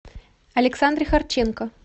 александре харченко